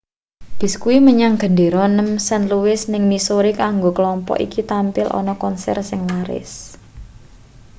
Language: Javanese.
bis kuwi menyang gendera nem st louis ning missouri kanggo klompok iki tampil ana konser sing laris